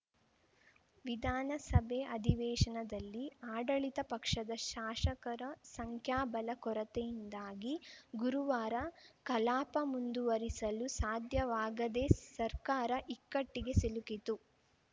ವಿಧಾನಸಭೆ ಅಧಿವೇಶನದಲ್ಲಿ ಅಡಳಿತ ಪಕ್ಷದ ಶಾಷಕರ ಸಂಖ್ಯಾಬಲ ಕೊರತೆಯಿಂದಾಗಿ ಗುರುವಾರ ಕಲಾಪ ಮುಂದುವರಿಸಲು ಸಾಧ್ಯವಾಗದೆ ಸರ್ಕಾರ ಇಕ್ಕಟ್ಟಿಗೆ ಸಿಲುಕಿತು